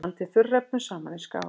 Blandið þurrefnunum saman í skál.